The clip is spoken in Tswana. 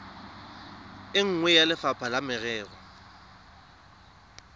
nngwe ya lefapha la merero